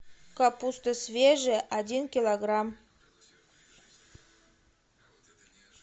капуста свежая один килограмм